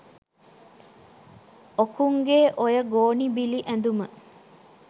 ඔකුන්ගේ ඔය ගෝනි බිලි ඇඳුම